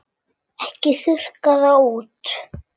Ekki þurrka það út.